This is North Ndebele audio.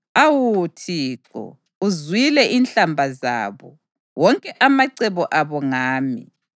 Awu Thixo, uzwile inhlamba zabo, wonke amacebo abo ngami,